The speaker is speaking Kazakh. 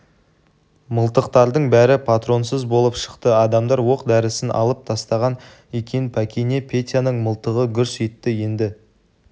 мылтықтардың бәрі патронсыз болып шықты арамдар оқ-дәрісін алып тастаған екен пәкене петяның мылтығы гүрс етті енді